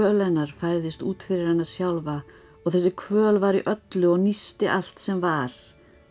hennar færðist út fyrir hana sjálfa og þessi kvöl var í öllu og allt sem var